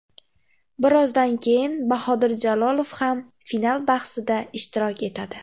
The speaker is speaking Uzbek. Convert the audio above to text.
Birozdan keyin Bahodir Jalolov ham final bahsida ishtirok etadi.